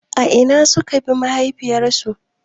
A ina suka binne mahaifiyarku.